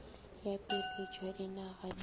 ya peeletšo ya dinaga di